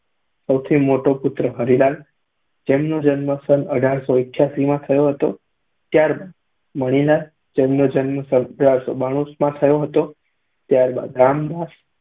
સૌથી મોટો પુત્ર હરીલાલ તેમનો જન્મ સન અઢારસો અઠ્યાસીમાં થયો હતો. ત્યાર બાદ મણીલાલતેમનો જન્મ સન અઢારસો બાણુમાં થયો હતો. ત્યારબાદ રામદાસ